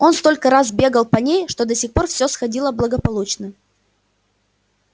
он столько раз бегал по ней и до сих пор всё сходило благополучно